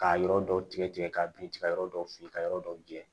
K'a yɔrɔ dɔw tigɛ tigɛ k'a bin tigɛ yɔrɔ dɔw fin ka yɔrɔ dɔw jɛ